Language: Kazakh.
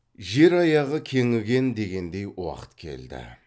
жер аяғы кеңіген дегендей уақыт келді